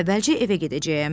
Əvvəlcə evə gedəcəyəm,